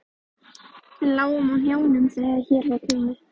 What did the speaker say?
Við lágum á hnjánum þegar hér var komið.